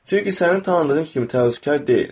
Çünki sənin tanıdığın kimi təvəkkülkar deyil.